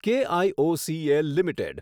KIOCL limited